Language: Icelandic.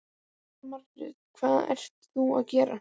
Jóhanna Margrét: Hvað ert þú að gera?